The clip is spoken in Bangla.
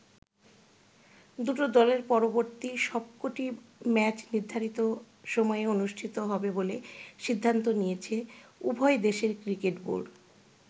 দুটো দলের পরবর্তী সবকটি ম্যাচ নির্ধারিত সময়ে অনুষ্ঠিত হবে বলে সিদ্ধান্ত নিয়েছে উভয় দেশের ক্রিকেট বোর্ড।